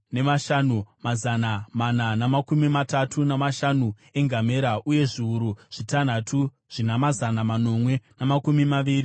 mazana mana namakumi matatu namashanu engamera uye zviuru zvitanhatu zvina mazana manomwe namakumi maviri zvembongoro.